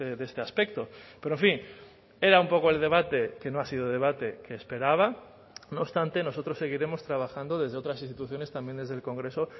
de este aspecto pero en fin era un poco el debate que no ha sido debate que esperaba no obstante nosotros seguiremos trabajando desde otras instituciones también desde el congreso